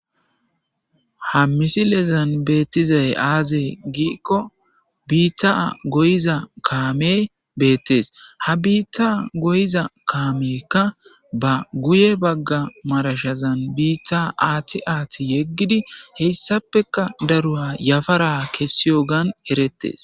Ha missilezan betizay aze giikko bitta goyiza kamey betees ha bitta goyiza kameyka ba guye bagga marshshezan bitta aththi aththi yegidi hessafekka daro yafaran kesiyoggan eretees